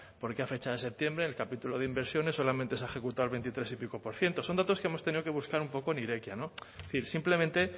por qué a fecha de septiembre en el capítulo de inversión solamente se ha ejecutado el veintitrés y pico por ciento son datos que hemos tenido que buscar un poco en irekia es decir simplemente